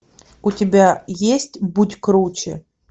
у тебя есть будь круче